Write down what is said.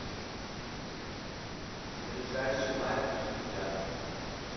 ближайший мать и дитя